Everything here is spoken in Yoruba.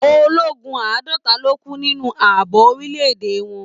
Ológun àádọta ló kú nínú ààbò orílẹ̀-èdè wọn.